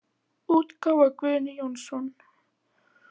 útgáfa Guðni Jónsson.